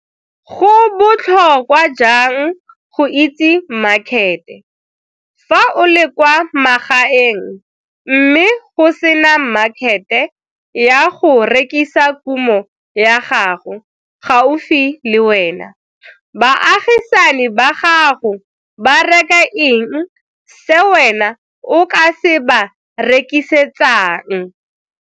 Go botlhokwa jang go itse makhete, fa o le kwa magaeng mme go se na makhete ya go rekisa kumo ya gago gaufi le wena, baagisani ba gago ba reka eng se wena o ka se ba rekisetsang?